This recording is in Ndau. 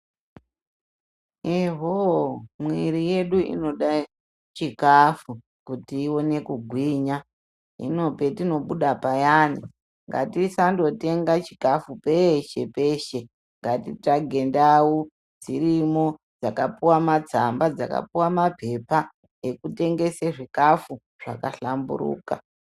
Eho mwiri yedu inoda chikafu kuti ione kugwinya hino patinobuda payani ngatisandotenga chikafu peshe peshe ngatitsvage ndau dzirimwo dzakapuwa matsamba dzakapuwa mapepa ekutengese zvikafu zvakahlamburuka.